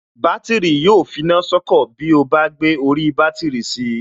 Bátìrì yóò finá sọ́kọ̀ tí ó bá gbé orí bátìrì si